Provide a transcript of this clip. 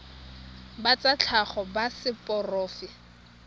ba tsa tlhago ba seporofe